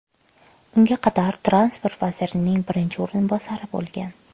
Unga qadar transport vazirining birinchi o‘rinbosari bo‘lgan.